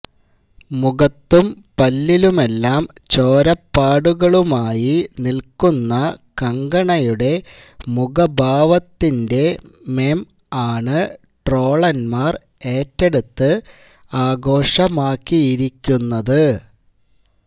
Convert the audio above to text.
മുഖത്തും പല്ലിലുമെല്ലാം ചോരപ്പാടുകളുമായി നിൽക്കുന്ന കങ്കണയുടെ മുഖഭാവത്തിന്റെ മെം ആണ് ട്രോളന്മാർ ഏറ്റെടുത്ത് ആഘോഷമാക്കിയിരിക്കുന്നത്